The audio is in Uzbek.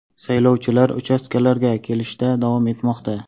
Saylovchilar uchastkalarga kelishda davom etmoqda.